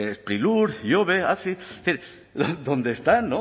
sprilur ihobe hazi es decir dónde están